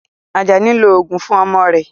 Ajani ń lo oògùn fún ọmọ rẹ̀